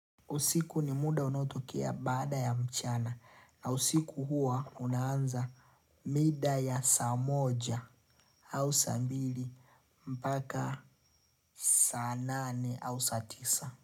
Usiku ni muda unaotokea baada ya mchana na usiku huwa unaanza mida ya saa moja au saa mbili mpaka saa nane au saa tisa.